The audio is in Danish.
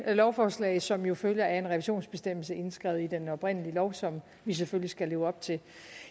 lovforslag som jo følger af en revisionsbestemmelse indskrevet i den oprindelige lov som vi selvfølgelig skal leve op til